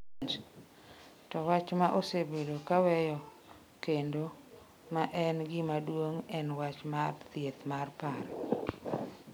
To wach ma osebedo ka weyo kendo ma en gima duong’ en wach mar thieth mar paro.